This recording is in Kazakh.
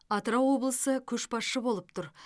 атырау облысы көшбасшы болып тұр